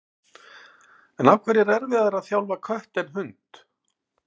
En af hverju er erfiðara að þjálfa kött en hund?